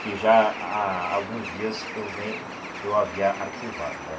Que já há há alguns dias eu venho que eu havia arquivado, né?